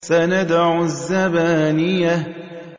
سَنَدْعُ الزَّبَانِيَةَ